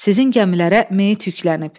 Sizin gəmilərə meyit yüklənib.